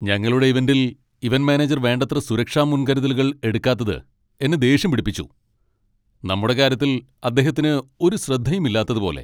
ഞങ്ങളുടെ ഇവന്റിൽ event manager വേണ്ടത്ര സുരക്ഷാ മുൻകരുതലുകൾ എടുക്കാത്തത് എന്നെ ദേഷ്യം പിടിപ്പിച്ചു . നമ്മുടെ കാര്യത്തിൽ അദ്ദേഹത്തിന് ഒരു ശ്രദ്ധയും ഇല്ലാത്തത് പോലെ !'